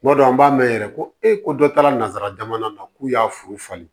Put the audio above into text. Kuma dɔ la an b'a mɛn yɛrɛ ko e ko dɔ taara nanzara jamana na k'u y'a furu falen